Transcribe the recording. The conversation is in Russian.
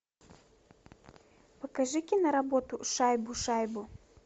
покажи киноработу шайбу шайбу